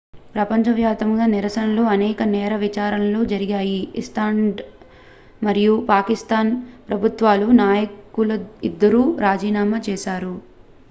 ప్రపంచవ్యాప్తంగా నిరసనలు అనేక నేర విచారణలు జరిగాయి ఐస్లాండ్ మరియు పాకిస్తాన్ ప్రభుత్వాల నాయకులు ఇద్దరూ రాజీనామా చేశారు